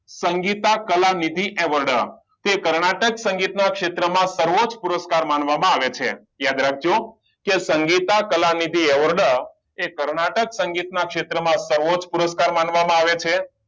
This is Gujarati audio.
સંગીતા કલાનિધિ એવોર્ડ કે કર્ણાટક સંગીત માં સર્વોચ્ચ પુરસ્કાર માનવામાં આવે છે યાદ રાખજો કે સંગીતા કલાનિધિ એવોર્ડ એ કર્ણાટક સંગીત ના ક્ષેત્ર માં સર્વોચ્ચ પુરસ્કાર માનવામાં આવે છે